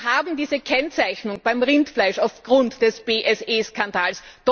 Wir haben diese Kennzeichnung beim Rindfleisch aufgrund des BSE Skandals.